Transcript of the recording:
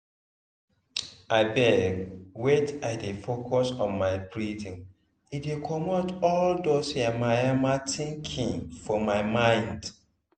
abeg wait i dey focus on my breathing e dey comot all dos yamamaya thinking for my mind.